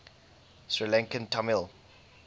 sri lankan tamil